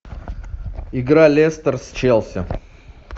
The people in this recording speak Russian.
игра лестер с челси